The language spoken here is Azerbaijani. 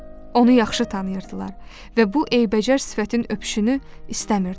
Onu yaxşı tanıyırdılar və bu eybəcər sifətin öpüşünü istəmirdilər.